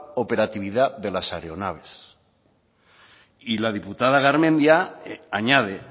operatividad de las aeronaves y la diputada garmendia añade